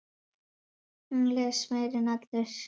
Hún les meira en allir.